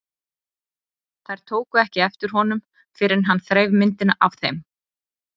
Þær tóku ekki eftir honum fyrr en hann þreif myndina af þeim.